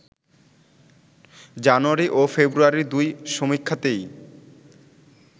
জানুয়ারি ও ফেব্রুয়ারির দুই সমীক্ষাতেই